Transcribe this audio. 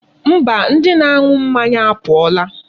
Mba, ndi na-anu mmanya apuola.